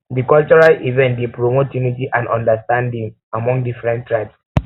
di cultural event event dey promote unity and understanding among different tribes